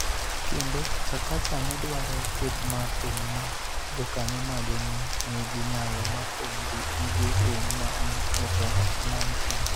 Kendo, Chakacha nedwaro kweth mar thum ma jokanyo mage ne nigi nyalo mar thum gi gige thum ma ni e dho nam chumbi